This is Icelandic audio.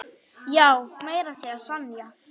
Já, meira að segja Sonja.